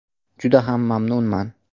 Juda ham mamnunman.